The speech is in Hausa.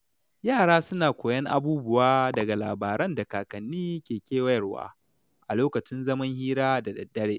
Yara suna koyon abubuwa daga labaran da kakanni ke bayarwa a lokacin zaman hira da dare.